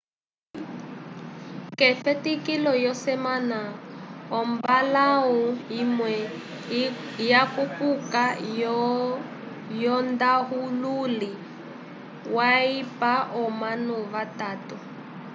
ke fetikilo yo semana omballahu imwe ya kupuka yo ndahululi wa ipa omanu va tato